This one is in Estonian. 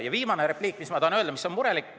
Ja viimane repliik, mis ma tahan öelda, on murelik.